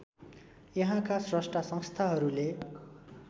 यहाँका स्रष्टा संस्थाहरूले